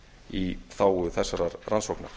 í þágu þessarar rannsóknar